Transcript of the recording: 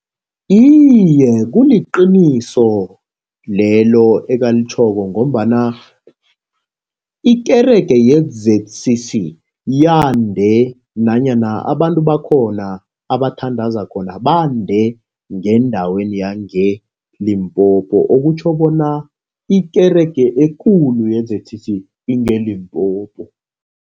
Iye, kuliqiniso lelo ekalitjhoko, ngombana ikerege ye-Z_C_C yande nanyana abantu bakhona abathandaza khona, bande ngendaweni yangeLimpopo. Okutjho bona ikerege ekulu ye-Z_C_C ingeLimpopo.